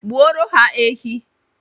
Gbuoro ha ehi